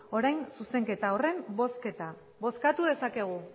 orain zuzenketa horren bozketa bozkatu dezakegu